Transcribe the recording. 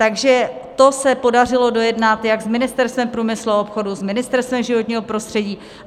Takže to se podařilo dojednat jak s Ministerstvem průmyslu a obchodu, s Ministerstvem životního prostředí.